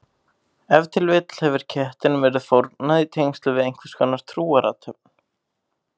Ef til vill hefur kettinum verið fórnað í tengslum við einhverskonar trúarathöfn.